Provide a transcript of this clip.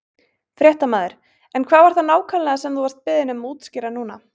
Fréttamaður: En hvað var það nákvæmlega sem þú vart beðinn um að útskýra núna?